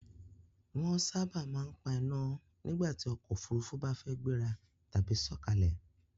Wọ́n sábà máa ń pa iná nígbàtí ọkọ̀ Òfurufú bá fẹ́ gbéra tàbí sọ̀kalẹ̀